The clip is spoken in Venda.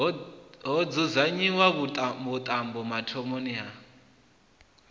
ho dzudzanyiwa vhuṱambo mathomoni a